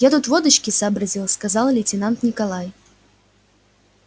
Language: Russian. я тут водочки сообразил сказал лейтенант николай